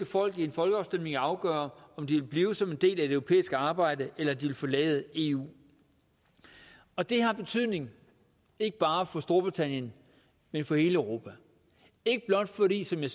folk i en folkeafstemning at afgøre om de vil blive som en del af det europæiske arbejde eller om de vil forlade eu og det har betydning ikke bare for storbritannien men for hele europa ikke blot fordi som jeg